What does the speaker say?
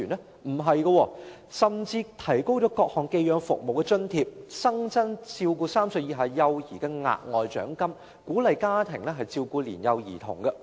並不是，政府提高了各項寄養服務的津貼，並新增照顧3歲以下幼兒的額外獎金，以鼓勵家庭照顧年幼兒童。